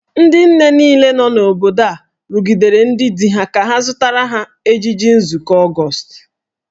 Ndị nne niile nọ n’obodo a rụgidere ndị di ha ka ha zụtara ha ejiji nzụkọ Ọgọọst.